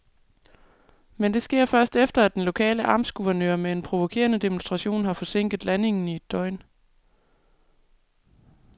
Men det sker først, efter at den lokale amtsguvernør med en provokerende demonstration har forsinket landingen i et døgn.